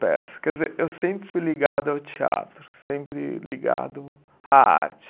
Peça. Quer dizer, eu sempre fui ligado ao teatro, sempre ligado à arte.